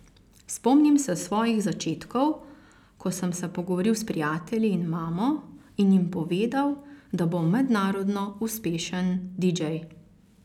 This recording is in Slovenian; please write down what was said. Spomnim se svojih začetkov, ko sem se pogovoril s prijatelji in mamo in jim povedal, da bom mednarodno uspešen didžej.